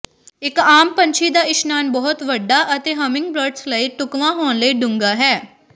ਇਕ ਆਮ ਪੰਛੀ ਦਾ ਇਸ਼ਨਾਨ ਬਹੁਤ ਵੱਡਾ ਅਤੇ ਹੰਮਿੰਗਬ੍ਰਡਸ ਲਈ ਢੁਕਵਾਂ ਹੋਣ ਲਈ ਡੂੰਘਾ ਹੈ